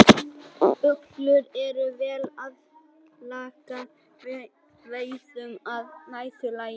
Uglur eru vel aðlagaðar veiðum að næturlagi.